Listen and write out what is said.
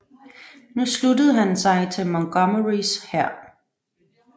Nu sluttede han sig til Montgomerys hær